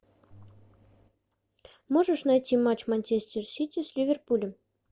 можешь найти матч манчестер сити с ливерпулем